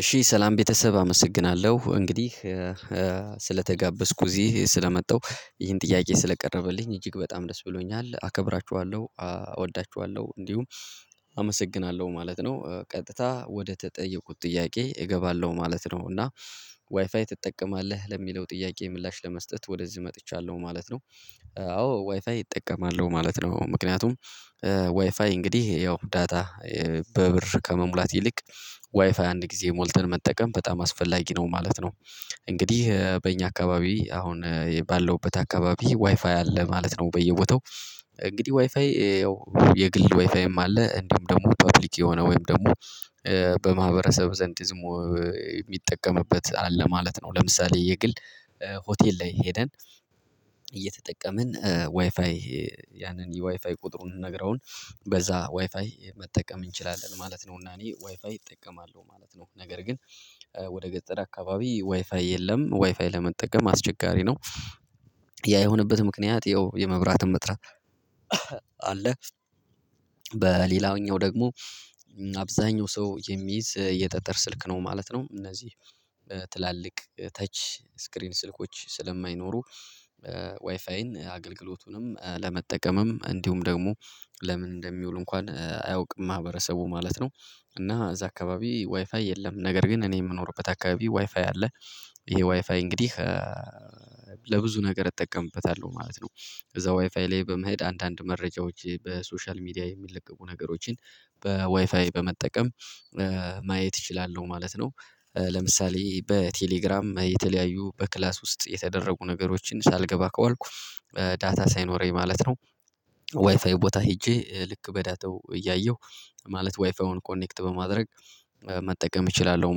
እሺ ሰላም ቤተሰብ አመሰግናለሁ እንግዲህ ስለተጋበዝኩ እዚህ ስለመጣሁ ይሄን ጥያቄ ስለቀረበልኝ እጅግ በጣም ደስ ብሎኛል አከብራችኋለሁ እወዳችኋለሁ እንዲሁም አመሰግናለሁ ማለት ነው። ቀጥታ ወደ ተጠየቁት ጥያቄ እገባለሁ ማለት ነው እና ዋይፋይ ትጠቀማለህ ለሚለው ጥያቄ ምላሽ ለመስጠት ወደዚህ መጥቻለሁ ማለት ነው። አዎ ዋይፋይ እጠቀማለሁ ማለት ነው ምክንያቱም ዋይፋይ እንግዲህ ያው ዳታ በብር ከመሙላት ይልቅ ዋይፋይ አንድ ጊዜ ሞልተን መጠቀም በጣም አስፈላጊ ነው ማለት ነው። እንግዲህ በእኛ አካባቢ አሁን የባለውበት አካባቢ ዋይፋይ አለ ማለት ነው በየቦታው። እንግዲህ ዋይፋይ ያው የግል ዋይፋይም አለ እንዲሁም ደግሞ ፐብሊክ የሆነ ወይም ደግሞ በማህበረሰብ ዘንድ ዝሙ የሚጠቀምበት አለ ማለት ነው። ለምሳሌ የግል ሆቴል ላይ ሄደን እየተጠቀምን ዋይፋይ ያንን የዋይፋይ ቁጥሩን ነግረውን በዛ ዋይፋይ መጠቀም እንችላለን ማለት ነው። እና እኔ ዋይፋይ እጠቀማለሁ ማለት ነው ነገር ግን ወደ ገጠር አካባቢ ዋይፋይ የለም ዋይፋይ ለመጠቀም አስቸጋሪ ነው። ያ የሆነበት ምክንያት ያው የመብራትም እጥራት አለ በሌላኛው ደግሞ አብዛኛው ሰው የሚይዝ የጠጠር ስልክ ነው ማለት ነው። እነዚህ ትላልቅ ተች ስክሪን ስልኮች ስለማይኖሩ ዋይፋይን አገልግሎቱንም ለመጠቀምም እንዲሁም ደግሞ ለምን እንደሚውል እንኳን አያውቅም ማህበረሰቡ ማለት ነው። እና እዛ አካባቢ ዋይፋይ የለም ነገር ግን እኔ የምኖርበት አካባቢ ዋይፋይ አለ። ይሄ ዋይፋይ እንግዲህ ለብዙ ነገር እጠቀምበታለሁ ማለት ነው። እዛ ዋይፋይ ላይ በመሄድ አንዳንድ መረጃዎች በሶሻል ሚዲያ የሚለቀቁ ነገሮችን በዋይፋይ በመጠቀም ማየት እችላለሁ ማለት ነው። ለምሳሌ በቴሌግራም የተለያዩ በክላስ ውስጥ የተደረጉ ነገሮችን ሳልገባ ከዋልኩ ዳታ ሳይኖረኝ ማለት ነው ዋይፋዩ ቦታ ሄጄ ልክ በዳተው እያየሁ ማለት ዋይፋዩን ኮኔክት በማድረግ መጠቀም እችላለሁ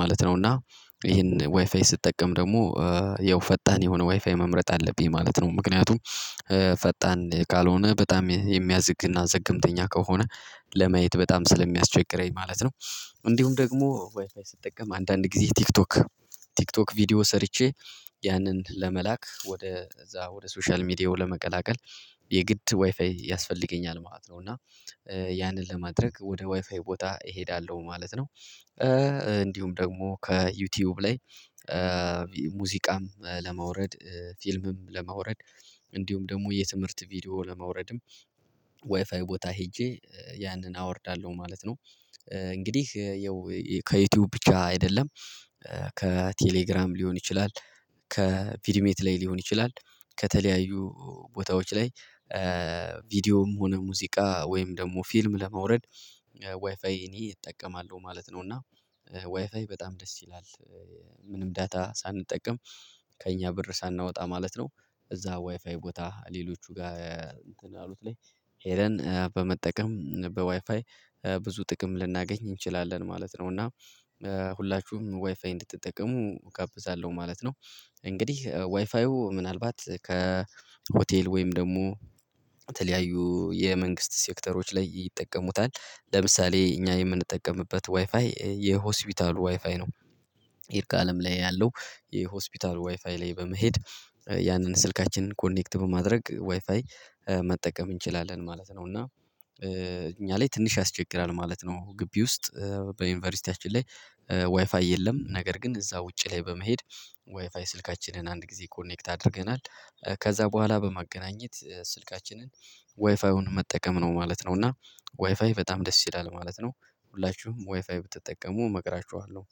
ማለት ነው። እና ይሄን ዋይፋይ ስጠቀም ደግሞ ያው ፈጣን የሆነ ዋይፋይ መምረጥ አለብኝ ማለት ነው ምክንያቱም ፈጣን ካልሆነ በጣም የሚያዝግና ዘገምተኛ ከሆነ ለማየት በጣም ስለሚያስቸግረኝ ማለት ነው። እንዲሁም ደግሞ ዋይፋይ ስጠቀም አንዳንድ ጊዜ ቲክቶክ ቲክቶክ ቪዲዮ ሰርቼ ያንን ለመላክ ወደ እዛ ወደ ሶሻል ሚዲያው ለመቀላቀል የግድ ዋይፋይ ያስፈልገኛል ማለት ነው። እና ያንን ለማድረግ ወደ ዋይፋይ ቦታ እሄዳለሁ ማለት ነው። እንዲሁም ደግሞ ከዩቲዩብ ላይ ሙዚቃም ለማውረድ ፊልምም ለማውረድ እንዲሁም ደግሞ የትምህርት ቪዲዮ ለማውረድም ዋይፋይ ቦታ ሄጄ ያንን አወርዳለሁ ማለት ነው። እንግዲህ ያው ከዩቲዩብ ብቻ አይደለም ከቴሌግራም ሊሆን ይችላል ከቪድሜት ላይ ሊሆን ይችላል ከተለያዩ ቦታዎች ላይ ቪዲዮም ሆነ ሙዚቃ ወይም ደግሞ ፊልም ለማውረድ ዋይፋይ እኔ እጠቀማለሁ ማለት ነው። እና ዋይፋይ በጣም ደስ ይላል ምንም ዳታ ሳንጠቀም ከእኛ ብር ሳናወጣ ማለት ነው። እዛ ዋይፋይ ቦታ ሌሎቹ ጋር እንትን አሉት ላይ ሄደን በመጠቀም በዋይፋይ ብዙ ጥቅም ልናገኝ እንችላለን ማለት ነው። እና ሁላችሁም ዋይፋይ እንድትጠቀሙ እጋብዛለሁ ማለት ነው። እንግዲህ ዋይፋዩ ምናልባት ከሆቴል ወይም ደግሞ የተለያዩ የመንግስት ሴክተሮች ላይ ይጠቀሙታል ለምሳሌ እኛ የምንጠቀምበት ዋይፋይ የሆስፒታሉ ዋይፋይ ነው ይርጋአለም ላይ ያለው የሆስፒታል ዋይፋይ ላይ በመሄድ ያንን ስልካችንን ኮኔክት በማድረግ ዋይፋይ መጠቀም እንችላለን ማለት ነው። እና እኛ ላይ ትንሽ ያስቸግራል ማለት ነው ግቢ ውስጥ በዩኒቨርሲቲያችን ላይ ዋይፋይ የለም ነገር ግን እዛ ውጪ ላይ በመሄድ ዋይፋይ ስልካችንን አንድ ጊዜ ኮኔክት አድርገናል ከዛ በኋላ በማገናኘት ስልካችንን ዋይፋዩን መጠቀም ነው ማለት ነው። እና ዋይፋይ በጣም ደስ ይላል ማለት ነው። ሁላችሁም ዋይፋይ ብትጠቀሙ እመክራችኋለሁ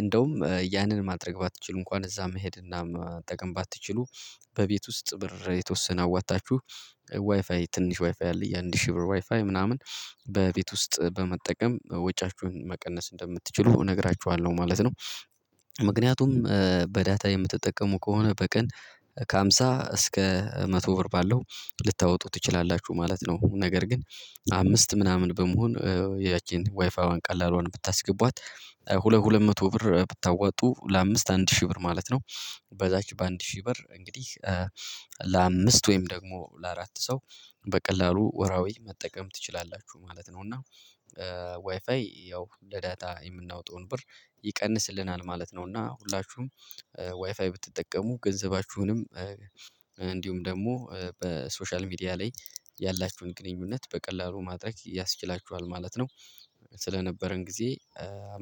እንደውም ያንን ማድረግ ባትችሉ እንኳን እዛ መሄድና መጠቀም ባትችሉ በቤት ውስጥ ብር የተወሰነ አዋታችሁ ዋይፋይ ትንሽ ዋይፋይ አለ የአንድ ሺህ ብር ዋይፋይ ምናምን በቤት ውስጥ በመጠቀም ወጪያችሁን መቀነስ እንደምትችሉ እነግራችኋለሁ ማለት ነው። ምክንያቱም በዳታ የምትጠቀሙ ከሆነ በቀን ከሃምሳ እስከ መቶ ብር ባለው ልታወጡ ትችላላችሁ ማለት ነው። ነገር ግን አምስት ምናምን በመሆን ያቺን ዋይፋዪዋን ቀላልዋን ብታስገቧት ሁለት ሁለት መቶ ብር ብታወጡ ለአምስት አንድ ሺህ ብር ማለት ነው በዛች በአንድ ሺህ ብር እንግዲህ ለአምስት ወይም ደግሞ ለአራት ሰው በቀላሉ ወርሃዊ መጠቀም ትችላላችሁ ማለት ነው። እና ዋይፋይ ያው ለዳታ የምናወጣውን ብር ይቀንስልናል ማለት ነው። እና ሁላችሁም ዋይፋይ ብትጠቀሙ ገንዘባችሁንም እንዲሁም ደግሞ በሶሻል ሚዲያ ላይ ያላችሁን ግንኙነት በቀላሉ ማድረግ ያስችላችኋል ማለት ነው። ስለነበረን ጊዜ አመሰ